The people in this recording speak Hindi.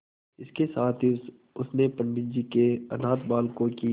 इसके साथ ही उसने पंडित जी के अनाथ बालकों की